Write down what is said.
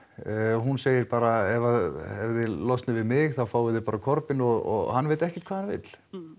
hún segir bara ef að þið losnið við mig þá fáið þið bara Corbyn og hann veit ekkert hvað hann vill